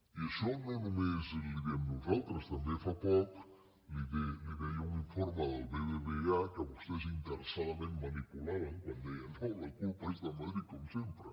i això no només li ho diem nosaltres també fa poc li ho deia un informe del bbva que vostès interessadament manipulaven quan deien no la culpa és de madrid com sempre